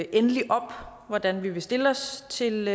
endeligt op hvordan vi vil stille os til